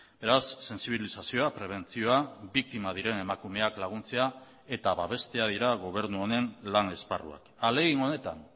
beraz sentsibilizazioa prebentzioa biktima diren emakumeak laguntzea eta babestea dira gobernu honen lan esparruak ahalegin honetan